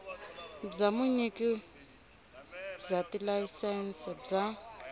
bya vunyiki bya tilayisense bya